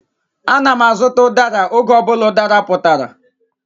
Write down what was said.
Ana m azụta udara oge ọ bụla udara putara.